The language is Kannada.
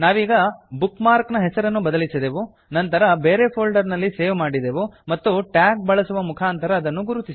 ನಾವೀಗ ಬುಕ್ ಮಾರ್ಕ್ ನ ಹೆಸರನ್ನು ಬದಲಿಸಿದೆವು ನಂತರ ಬೇರೆ ಫೋಲ್ಡರ್ ನಲ್ಲಿ ಸೇವ್ ಮಾಡಿದೆವು ಮತ್ತು ಟ್ಯಾಗ್ ಬಳಸುವ ಮುಖಾಂತರ ಅದನ್ನು ಗುರುತಿಸಿದೆವು